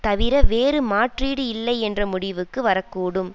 தவிர வேறு மாற்றீடு இல்லை என்ற முடிவிற்கு வரக்கூடும்